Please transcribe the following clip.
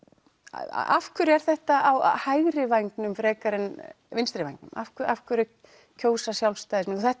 af hverju er þetta á hægri vængnum frekar en vinstri vængnum af hverju af hverju kjósa Sjálfstæðismenn og þetta